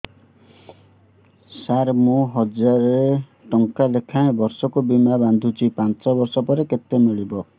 ସାର ମୁଁ ହଜାରେ ଟଂକା ଲେଖାଏଁ ବର୍ଷକୁ ବୀମା ବାଂଧୁଛି ପାଞ୍ଚ ବର୍ଷ ପରେ କେତେ ମିଳିବ